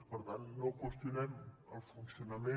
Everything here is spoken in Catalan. per tant no qüestionem el funcionament